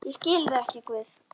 Ég skil þig ekki, Guð.